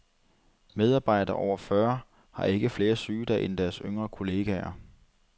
Medarbejdere over fyrre har ikke flere sygedage end deres yngre kolleger.